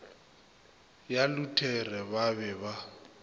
ya luthere ba be ba